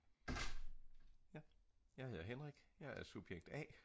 jeg hedder Henrik jeg er subjekt a